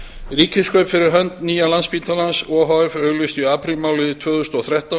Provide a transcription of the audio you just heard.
ríkiskaup fyrir hönd nlsh o h f auglýstu í aprílmánuði tvö þúsund og þrettán